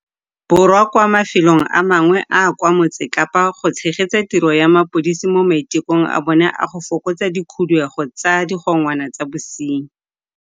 Borwa kwa mafelong a mangwe a a kwa Motse Kapa go tshegetsa tiro ya mapodisa mo maitekong a bona a go fokotsa dikhuduego tsa digongwana tsa bosenyi.